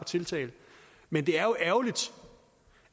tiltale men det er jo ærgerligt